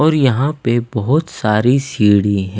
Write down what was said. और यहाँ पे बहुत सारी सीढ़ी है।